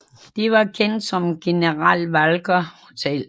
Det var kendt som General Walker Hotel